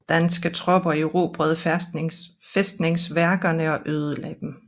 Danske tropper erobrede fæstningsværkerne og ødelagde dem